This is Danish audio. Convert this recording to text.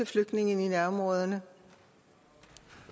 flygtninge i nærområderne